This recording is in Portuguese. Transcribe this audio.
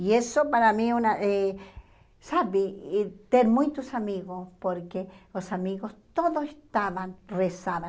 E isso para mim, uma eh sabe, e ter muitos amigos, porque os amigos todos estavam rezando.